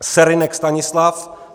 Serynek Stanislav